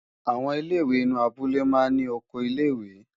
Àwọn ilé-ìwé inú abúlé máa ń ní oko ilé-ìwé.